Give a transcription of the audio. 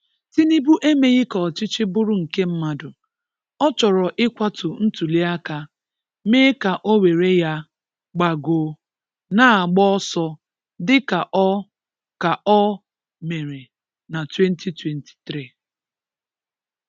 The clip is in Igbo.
Tínùbù emèghị̀ kà ọchịchị bụrụ̀ nkè mmadụ̀; ọ̀ chọ̀rọ̀ ị̀kwàtù ntùlì àkà, mèè kà ọ̀ wèré yà, gbàgòó, nà gbàà ọsọ̀, dị́ kà ọ̀ kà ọ̀ mèré n’2023